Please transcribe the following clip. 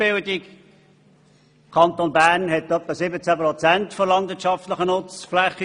Der Kanton verfügt über rund 17 Prozent der gesamtschweizerischen landwirtschaftlichen Nutzfläche.